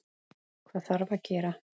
Hvað þarf að gera?